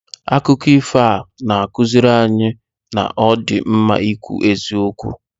Akụkọ ifo ahụ na-akụziri anyị na ọ dị mma ikwu eziokwu.